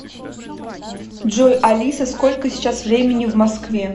джой алиса сколько сейчас времени в москве